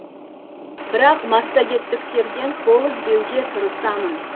бірақ массагеттіктерден қол үзбеуге тырысамын